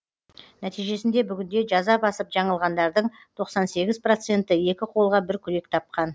нәтижесінде бүгінде жаза басып жаңылғандардың тоқсан сегіз проценті екі қолға бір күрек тапқан